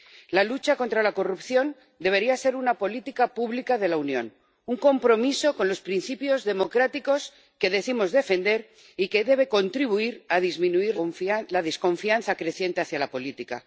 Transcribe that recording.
La lucha contra la corrupción debería ser una política pública de la Unión, un compromiso con los principios democráticos que decimos defender y que debe contribuir a disminuir la desconfianza creciente hacia la política.